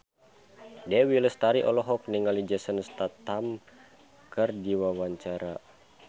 Dewi Lestari olohok ningali Jason Statham keur diwawancara